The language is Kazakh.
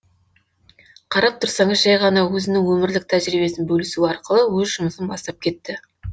қарап тұрсаныз жай ғана өзінің өмірлік тәжірибесін бөлісу арқылы өз жұмысын бастап кетті